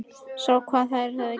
Sá hvað þær höfðu gert.